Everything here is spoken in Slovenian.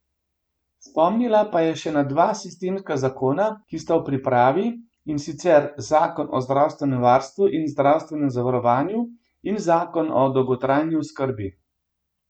Spomnila pa je še na dva sistemska zakona, ki sta v pripravi, in sicer zakon o zdravstvenem varstvu in zdravstvenem zavarovanju in zakon o dolgotrajni oskrbi.